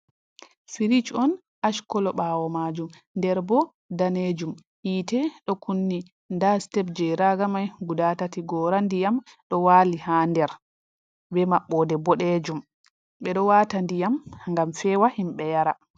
Firish on ash kolo, ɓawo majuum nder bo danejuum, yite ɗo kunni, nda sitep je raga mai guda tati, gora ndiyam ɗo wali ha der, bembbode bodejum bedo wata diyam gam fewa himbe yarandera